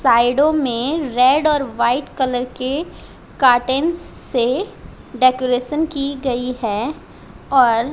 साइडो में रेड और व्हाइट कलर के कर्टेन्स से डेकोरेशन की गई है और--